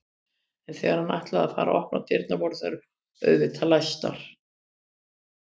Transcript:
En þegar hann ætlaði að fara að opna dyrnar voru þær auðvitað læstar.